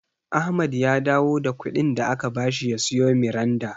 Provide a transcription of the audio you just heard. Ahmad ya dawo da kuɗin da aka bashi ya siyo Miranda.